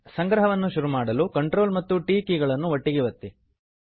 ಸಂಗ್ರಹವನ್ನು ಶುರು ಮಾಡಲು Ctrl ಮತ್ತು t ಕೀ ಗಳನ್ನು ಒಟ್ಟಿಗೆ ಒತ್ತಿ